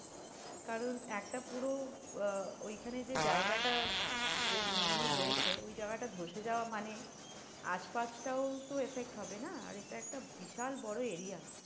কারণ একটা পুরো আহ ওইখানে যে জায়গাটা বেশ mainly হয়েছে, ওই জায়গাটা ধ্বসে যাওয়া মানে আশপাশটাও তো effect হবে না? আর এটা একটা বিশাল বড়ো area.